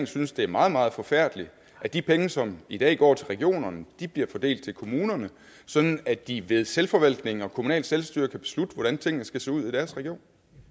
synes det er meget meget forfærdeligt at de penge som i dag går til regionerne bliver fordelt til kommunerne sådan at de ved selvforvaltning og kommunalt selvstyre kan beslutte hvordan tingene skal se ud i deres region